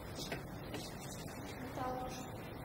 метал